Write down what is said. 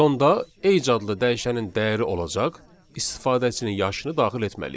Sonda age adlı dəyişənin dəyəri olacaq istifadəçinin yaşını daxil etməliyik.